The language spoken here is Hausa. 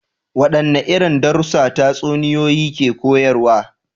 Wadanne irin darussa tatsuniyoyi ke koyarwa?